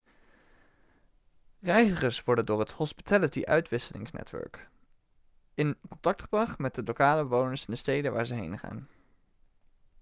reizigers worden door het hospitality-uitwisselingsnetwerk in contact gebracht met de lokale bewoners in de steden waar ze heen gaan